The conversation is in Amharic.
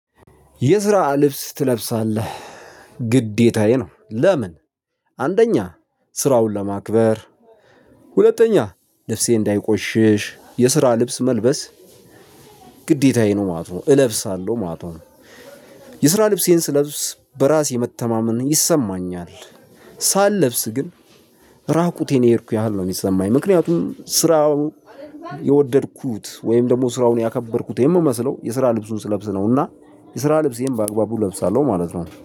የስራ ልብስ ትለብሳለህ ግዴታዬ ነው። ለምን? አንደኛ ስራውን ለማክበር። ሁለተኛ ልብሴ እንዳይቆሽሽ የስራ ልብስ መልበስ። ግዴታዬ ነው ማለት እለብሳለሁ ማለት ነው። የስራ ልብሴን ስለብስ በራሴ መተማመን ይሰማኛል። ሳልለብስ ግን። ራቁቴን የሄድኩኝ ያህል ነው የሚሰማኝ ምክንያቱም ስራውን የወደድኩት ወይም ደግሞ ስራውን ያከበርኩት የምመስለው የስራ ልብሱን ስለብስ ነው። እና የስራ ልብሴን በአግባቡ እለብሳለሁ ማለት ነው